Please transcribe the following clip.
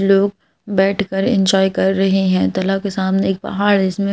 लोग बैठकर एंजॉय कर रहे हैं दला के सामने एक पहाड़ इसमें--